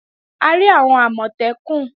A rí àwọn Àmọ̀tẹ́kùn lánàá